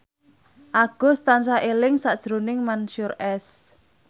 Agus tansah eling sakjroning Mansyur S